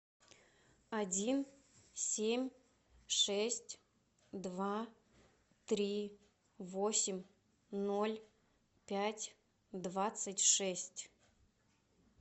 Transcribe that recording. один семь шесть два три восемь ноль пять двадцать шесть